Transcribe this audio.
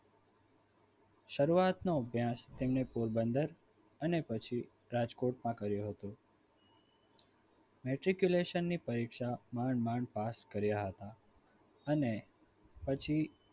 શરૂઆતનો અભ્યાસ તેમણે પોરબંદર અને પછી રાજકોટમાં કર્યો હતો metriculation ની પરીક્ષા માંદ માંડ પાસ કર્યા હતા. અને પછી